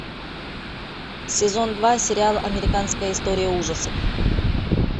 сезон два сериал американская история ужасов